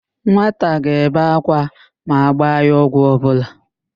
Nwata ga-ebe ákwá ma agba ya ọgwụ ọbụla.